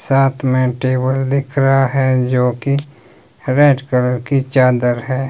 साथ में टेबल दिख रहा है जो की रेड कलर की चादर है।